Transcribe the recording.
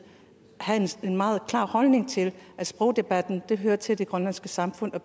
have en meget klar holdning til at sprogdebatten hører til i det grønlandske samfund